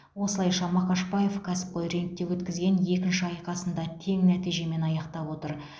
осылайша мақашбаев кәсіпқой рингте өткізген екінші айқасын да тең нәтижемен аяқтап отыр